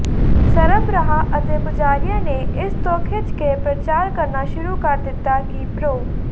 ਸਰਬਰਾਹ ਅਤੇ ਪੁਜਾਰੀਆਂ ਨੇ ਇਸ ਤੋਂ ਖਿਝ ਕੇ ਪਰਚਾਰ ਕਰਨਾ ਸ਼ੁਰੂ ਕਰ ਦਿਤਾ ਕਿ ਪ੍ਰੋ